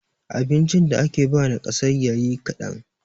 abincin da ake ba nakasayya yi kadan